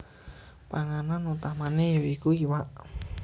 Panganan utamane ya iku iwak